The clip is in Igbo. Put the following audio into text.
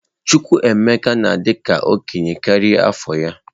Chukwuemeka na-adị ka okenye karịa afọ ya.